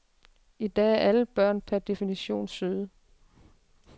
I dag er alle børn per definition søde.